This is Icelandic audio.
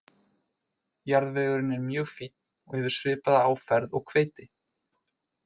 Jarðvegurinn er mjög fínn og hefur svipaða áferð og hveiti.